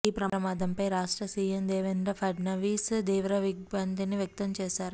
ఈ ప్రమాదంపై రాష్ట్ర సీఎం దేవేంద్ర పఢ్నవీస్ తీవ్ర దిగ్భ్రాంతిని వ్యక్తంచేశారు